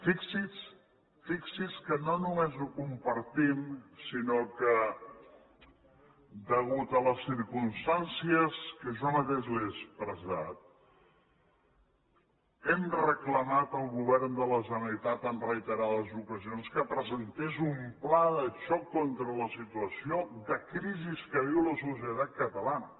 fixi’s que no només ho compartim sinó que a causa de les circumstàncies que jo mateix li he expressat hem reclamat al govern de la generalitat en reiterades ocasions que presentés un pla de xoc contra la situació de crisi que viu la societat catalana